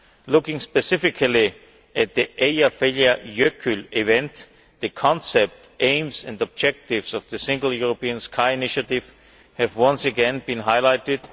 Looking specifically at the Eyjafjallajökull event, the concept, aims and objectives of the Single European Sky initiative have once again been highlighted.